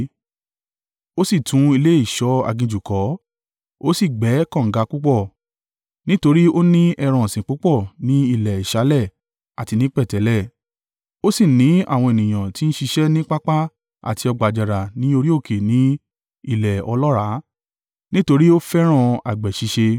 Ó sì tún ilé ìṣọ́ aginjù kọ́, ó sì gbẹ́ kànga púpọ̀, nítorí ó ni ẹran ọ̀sìn púpọ̀ ní ilẹ̀ ìsàlẹ̀ àti ní pẹ̀tẹ́lẹ̀. Ó sì ní àwọn ènìyàn tí ń ṣiṣẹ́ ní pápá àti ọgbà àjàrà ní orí òkè ní ilẹ̀ ọlọ́ràá, nítorí ó fẹ́ràn àgbẹ̀ ṣíṣe.